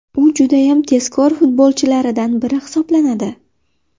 U judayam tezkor futbolchilaridan biri hisoblanadi.